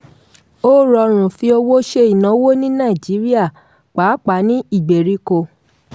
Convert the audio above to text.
ó rọrùn fi owó ṣe ìnáwó ní nàìjíríà pàápàá ní ìgbèríko.